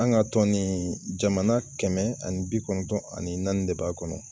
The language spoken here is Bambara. An ka tɔn nin jamana kɛmɛ ani bi kɔnɔntɔn ani naani de b'a kɔnɔ.